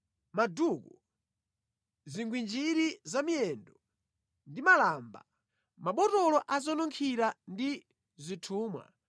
maduku, zigwinjiri za mʼmiyendo ndi malamba, mabotolo a zonunkhira ndi zithumwa,